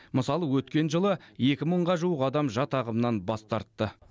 мысалы өткен жылы екі мыңға жуық адам жат ағымнан бас тартты